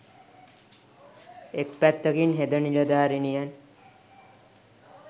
එක් පැත්තකින් හෙද නිලධාරිනියන්